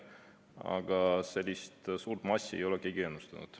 Aga sellist suurt massi ei ole keegi ennustanud.